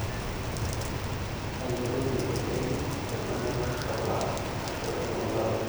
ayiolou teishoi enye tenaa keshulaa ashu ketunooki oopeny